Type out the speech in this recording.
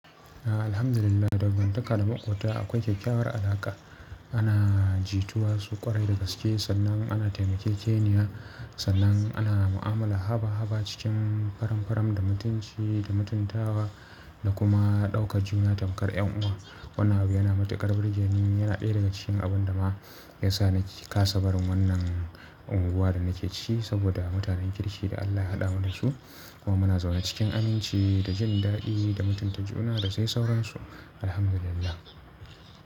Alhamdulillah, dangantakar maƙwabta akwai kyakkyawar alaƙa. Ana jituwa su ƙwarai dagaske sannan ana taimakejeniya, sannan ana mu'amala haba haba cikin faram faram da mutunci da mutuntawa da kuma ɗaukar juna tamkar ƴan uwa. Wannan abu yana matuƙar burge ni yana ɗaya daga cikin abun da ma ya sa ni kasa barin wannan unguwa da nake ci saboda mutanen kirshi da Allah ya haɗa mu da su kuma muna zaune cikin aminci da jin daɗi da mutunta juna da sai sauransu. Alhamdulillah.